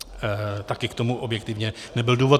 Taky k tomu objektivně nebyl důvod.